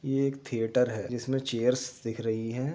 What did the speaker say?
ये एक थिएटर है जिसमें चेयर्स दिख रही हैं।